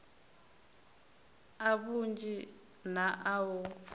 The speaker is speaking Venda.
a vhunzhi na a u